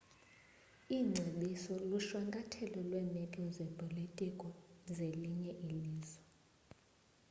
iingcebiso lushwankathelo lweemeko zezopolitiko zelinye ilizwe